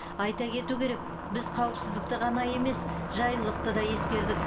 айта кету керек біз қауіпсіздікті ғана емес жайлылықты да ескердік